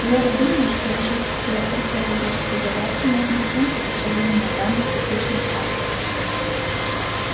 лорд думает что решить все археологические загадки можно путём сопоставления данных различных авторов